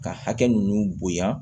Ka hakɛ nunnu bonya